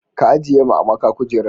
ka ajiye ma amaka kujeran